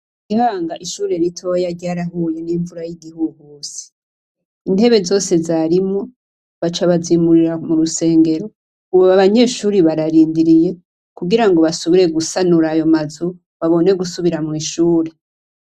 I Gihanga, ishure ritoya ryarahuye n'imvura y'igihuhusi, intebe zose zarimwo baca bazimurira mu rusengero. Ubu abanyeshure bararindiriye kugira ngo basubire gusanura ayo mazu, babone gusubira mw'ishure.